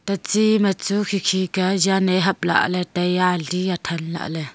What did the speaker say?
ta chi ma chu khi khi ka yan ae hap lah lay taiya ali that lah ley.